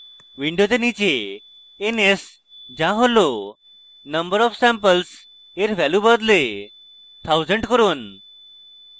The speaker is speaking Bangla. window নীচে ns যা হল number of samples at value বদলে 1000 করুন